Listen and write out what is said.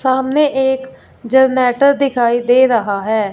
सामने एक जनरेटर दिखाई दे रहा है।